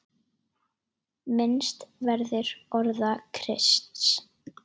Minnst verður orða Krists.